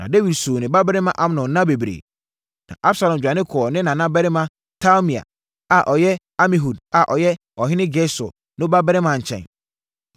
Na Dawid suu ne babarima Amnon nna bebree. Na Absalom dwane kɔɔ ne nana barima Talmai a na ɔyɛ Amihud a na ɔyɛ ɔhene Gesur no babarima nkyɛn.